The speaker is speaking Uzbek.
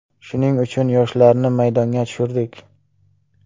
Shuning uchun yoshlarni maydonga tushirdik.